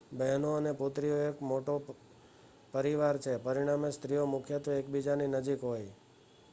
બહેનો અને પુત્રીઓ એક મોટો પરિવાર છે પરિણામે સ્ત્રીઓ મુખ્યત્વે એકબીજાની નજીક હોય